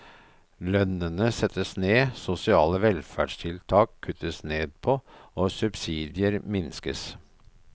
Lønnene settes ned, sosiale velferdtiltak kuttes ned på, og subsidier minskes.